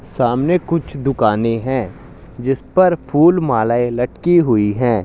सामने कुछ दुकानें है जिसपर फुल मालाएं लटकी हुई है।